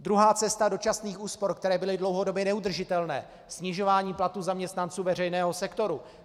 Druhá cesta dočasných úspor, které byly dlouhodobě neudržitelné: snižování platů zaměstnanců veřejného sektoru.